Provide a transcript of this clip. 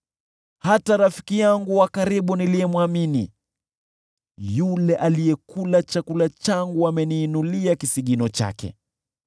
Hata rafiki yangu wa karibu niliyemwamini, yule aliyekula chakula changu ameniinulia kisigino chake.